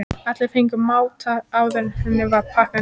Allir fengu að máta áður en henni var pakkað niður.